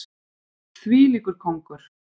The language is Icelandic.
Þvílíkur kóngur!